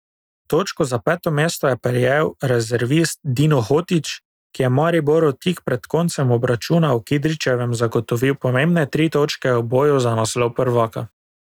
Točko za peto mesto je prejel rezervist Dino Hotić, ki je Mariboru tik pred koncem obračuna v Kidričevem zagotovil pomembne tri točke v boju za naslov prvaka.